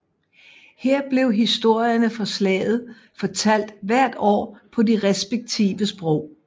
Her bliver historierne fra Slaget fortalt hvert år på de respektive sprog